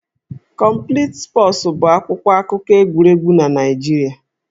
Complete Sports' bụ akwụkwọ akụkọ egwuregwu na Naịjirịa